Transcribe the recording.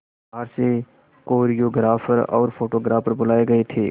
बाहर से कोरियोग्राफर और फोटोग्राफर बुलाए गए थे